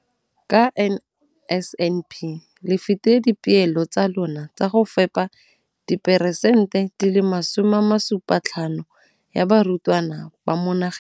ka NSNP le fetile dipeelo tsa lona tsa go fepa diperesente di le 75 ya barutwana ba mo nageng.